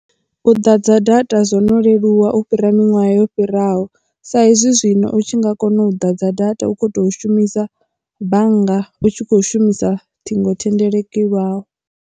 U ḓadza data zwono leluwa u fhira miṅwaha yo fhiraho sa hezwi zwino u tshi nga kona u ḓa dza data u kho tea u shumisa bannga u tshi kho shumisa ṱhingothendeleki lwau.